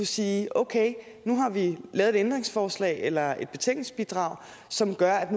sige okay nu har vi lavet et ændringsforslag eller et betænkningsbidrag som gør at